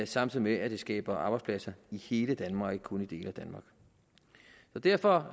samtidig med at det skaber arbejdspladser i hele danmark og ikke kun i dele af danmark derfor